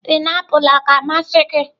painiapulu ọ na-amasị gị?